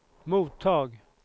mottag